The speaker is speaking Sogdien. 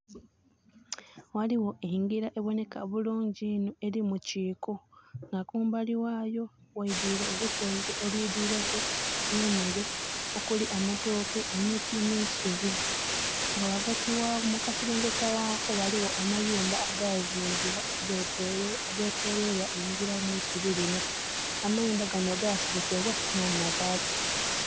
Ghaliwo enjira eboneka bulungi inho eri mukiiko nga kumbali wayo waidwire olusonzi olwidwireku emere okuli amatooke emiti n' isubi nga wagati waawo mukaserengeta waako waliwo amayumba agazimbbibwa agetoloirwa enjira n' isubi linho. Amayumba gano gaserekebwa na mabaati